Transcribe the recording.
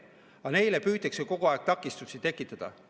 Aga neile püütakse kogu aeg takistusi tekitada.